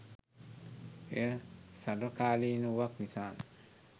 එය සර්වකාලීන වූවක් නිසාම